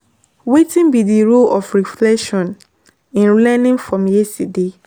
Wetin be di role of reflection in learning from yesterday?